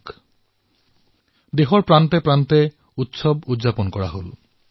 দেশৰ বিভিন্ন প্ৰান্তত ধুমধামেৰে উৎসৱ পালন কৰা হল